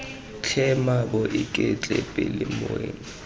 tlhe mmaabo iketle pele moeng